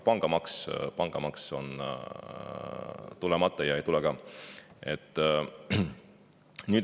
Aga pangamaks on tulemata ja ei tule ka.